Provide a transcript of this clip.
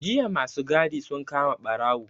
Jiya ma su gadi sun kama ɓarawo.